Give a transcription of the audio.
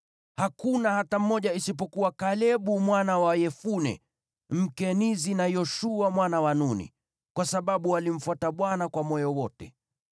hakuna hata mmoja isipokuwa Kalebu mwana wa Yefune, Mkenizi, na Yoshua mwana wa Nuni, kwa sababu walimfuata Bwana kwa moyo wote.’